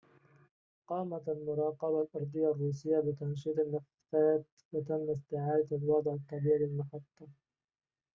قامت المراقبة الأرضية الروسية بتنشيط النفّثات وتم استعادة الوضع الطبيعي للمحطة